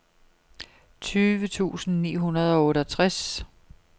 tyve tusind ni hundrede og otteogtres